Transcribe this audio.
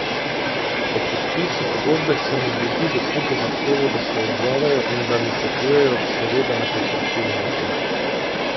Ob podpisu pogodbe sem od ljudi v klubu zahteval, da se odzovejo in da mi svetujejo, seveda na konstruktiven način.